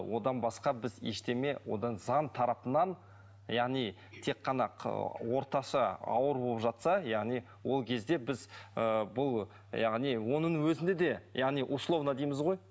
одан басқа біз ештеңе одан заң тарапынан яғни тек қана орташа ауыр болып жатса яғни ол кезде біз ыыы бұл яғни оның өзінде де яғни условно дейміз ғой